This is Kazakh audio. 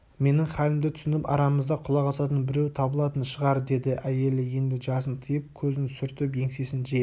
менің халімді түсініп арамызда құлақ асатын біреу табылатын шығар деді әйелі енді жасын тыйып көзін сүртіп еңсесін жиып